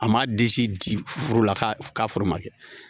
A ma disi di foro la k'a foro ma kɛ